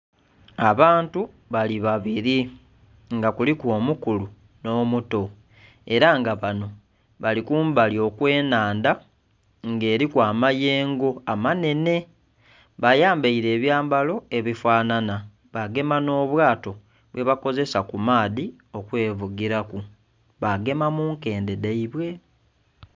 Abantu bali babiri nga kuliku omukulu nh'omuto era nga banho bali kumbali okw'enhandha nga eriku amayengo amanhenhe. Bayambeele ebyambalo ebifanhanha bagema nh'obwato bwebakozesa kumaadhi okwevugiraku bagema munkendhe dhaibwe.